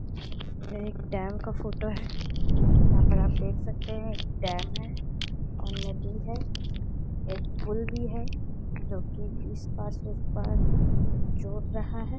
ये एक डैम का फोटो है। यहाँ पे आप देख सकते हैं एक डैम है और नदी है एक पुल भी है जो कि इस पार से उस पार जोड़ रहा है।